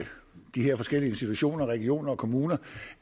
de her forskellige institutioner i regioner og kommuner